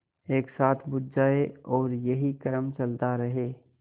एक साथ बुझ जाएँ और यही क्रम चलता रहे